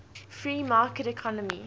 free market economy